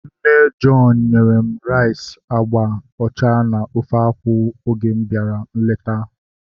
Nne John nyere m rice agba ọcha na ofe akwụ oge m bịara nleta